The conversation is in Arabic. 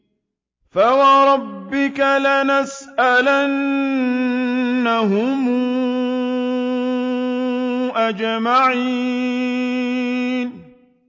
فَوَرَبِّكَ لَنَسْأَلَنَّهُمْ أَجْمَعِينَ